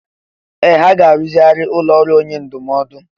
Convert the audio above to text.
Ee! Ha ga-arụzigharị ụlọ ọrụ onye ndụmọdụ.